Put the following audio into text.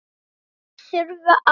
Skarpi þurfi að.